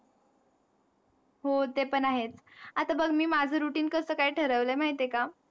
हो ते पण आहेच, आता बघ मी माझा routine कसं काय ठरवलंय माहित आहे का?